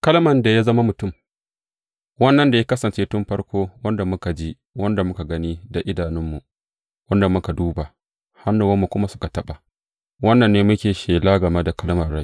Kalman da ya zama mutum Wannan da ya kasance tun farko, wanda muka ji, wanda muka gani da idanunmu, wanda muka duba, hannuwanmu kuma suka taɓa, wannan ne muke shela game da Kalman rai.